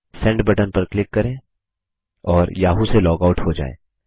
send button पर click करें और याहू से लॉग आऊट हो जाएँ